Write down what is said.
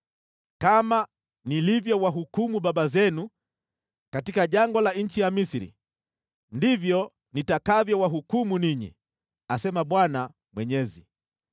Kama nilivyowahukumu baba zenu katika jangwa la nchi ya Misri, ndivyo nitakavyowahukumu ninyi, asema Bwana Mwenyezi.